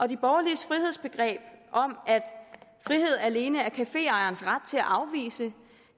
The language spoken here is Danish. de borgerliges frihedsbegreb om at frihed alene er caféejerens ret til at afvise